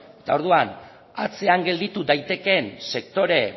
eta orduan atzean gelditu daitekeen sektore